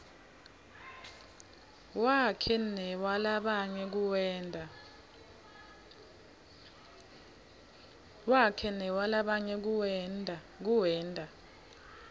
wakhe newalabanye kuwenta